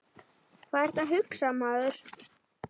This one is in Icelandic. Hvað ertu að hugsa, maður?